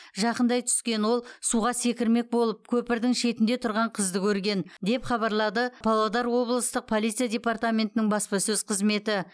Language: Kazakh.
жақындай түскен ол суға секірмек болып көпірдің шетінде тұрған қызды көрген деп хабарлады павлодар облыстық полиция департаментінің баспасөз қызметі